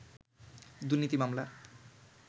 দুর্নীতি মামলা